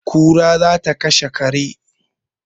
kura za ta kashe kare